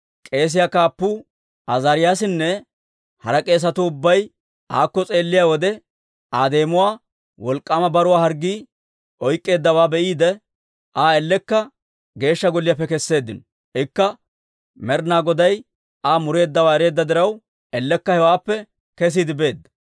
K'eesiyaa kaappuu Azaariyaasinne hara k'eesatuu ubbay aakko s'eelliyaa wode, Aa deemuwaa wolk'k'aama baruwaa harggii oyk'k'eeddawaa be'iide, Aa ellekka Geeshsha Golliyaappe kesseeddino. Ikka Med'inaa Goday Aa mureeddawaa ereedda diraw, ellekka hewaappe kesiide beedda.